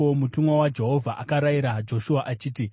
Mutumwa waJehovha akarayira Joshua achiti,